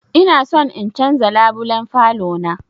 Ina son in canza labulen falo na